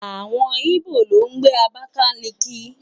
Àwọn Íbò ló ń gbé Abákáliki